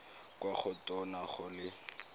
kwa go tona go le